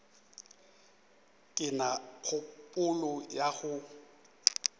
ke na kgopolo ya go